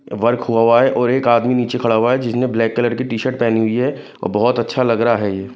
Work हुआ है और एक आदमी नीचे खड़ा हुआ है जिसने ब्लैक कलर की टी-शर्ट पहनी हुई है और बहुत अच्छा लग रहा है यह।